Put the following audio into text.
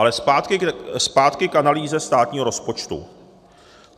Ale zpátky k analýze státního rozpočtu.